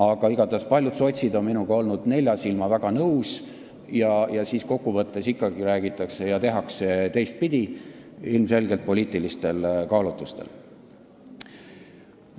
Aga igatahes on paljud sotsid olnud nelja silma all minuga väga nõus, aga siis ikkagi räägitakse ja tehakse teistpidi, ilmselgelt poliitilistel kaalutlustel.